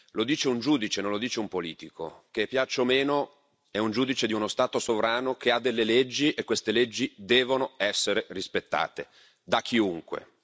Lo dice un giudice, non lo dice un politico, che piaccia o meno, è un giudice di uno Stato sovrano, che ha delle leggi e queste leggi devono essere rispettate da chiunque.